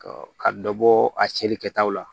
Ɔ ka dɔ bɔ a cɛli kɛtaw la